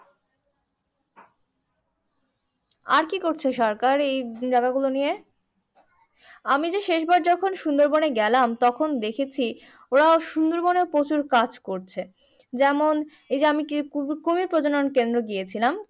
হ্যাঁ আর কি করছে সরকার এই জায়গা গুলো নিয়ে? আমি যে শেষ বার যখন সুন্দর বনে গেলাম তখন দেখেছি ওরা সুন্দর বনেও প্রচুর কাজ করছে। যেমন এই যে আমি কুমির প্রজনন কেন্দ্র গিয়েছিলাম।